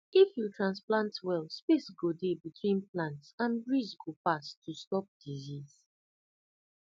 if you transplant well space go dey between plants and breeze go pass to stop disease